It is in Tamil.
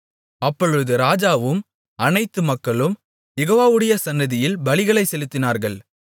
அப்பொழுது ராஜாவும் அனைத்து மக்களும் யெகோவாவுடைய சந்நிதியில் பலிகளைச் செலுத்தினார்கள்